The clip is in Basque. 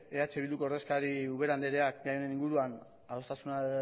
eh bilduko ordezkariari ubera andreari gai honen inguruan adostasuna